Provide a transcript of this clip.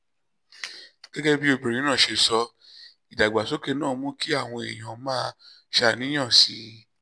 gẹ́gẹ́ bí obìnrin náà ṣe sọ ìdàgbàsókè náà mú kí àwọn èèyàn máa ṣàníyàn sí i